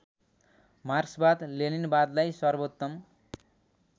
मार्क्सवाद लेनिनवादलाई सर्वोत्तम